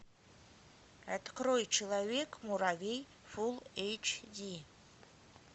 открой человек муравей фулл эйч ди